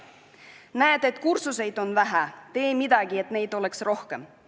Näed, et kursuseid on vähe – tee midagi, et neid oleks rohkem.